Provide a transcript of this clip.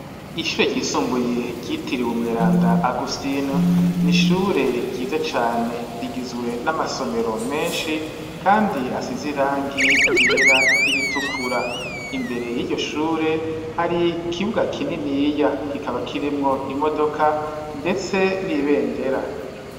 Ishuri ryisumbuye ryitiriwe umweranda Agustin n'ishuri ryiza cane rigizwe n'amasomero meshi kandi asize irangi ryera n'iritukura imbere yiryo shuri hari ikibuga kininiya kikaba kirimwo imodoka ndetse n'ibendera.